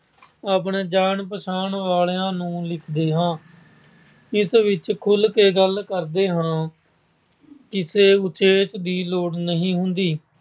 ਆਪਣੇ ਜਾਣ-ਪਹਿਚਾਣ ਵਾਲਿਆਂ ਨੂੰ ਲਿਖਦੇ ਹਾਂ। ਇਸ ਵਿਚ ਖੁਲ੍ਹਕੇ ਗੱਲ ਕਰਦੇ ਹਾਂ। ਕਿਸੇ ਵਿਸ਼ੇ ਦੀ ਲੋੜ ਨਹੀਂ ਹੁੰਦੀ।